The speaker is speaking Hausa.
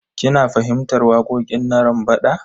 Kina fahimtar waƙoƙin Narambaɗa?